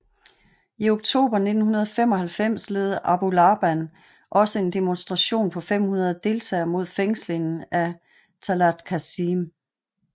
I oktober 1995 ledede Abu Laban også en demonstration på 500 deltagere mod fængslingen af Tallat Kassem